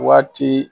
Waati